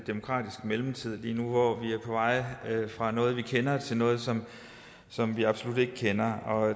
demokratisk mellemtid lige nu hvor vi er på vej fra noget vi kender til noget som vi absolut ikke kender